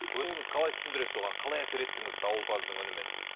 өзіңіз қалай түсіндіресіз оған қалай әсер еттіңіз дауылпаздың үнімен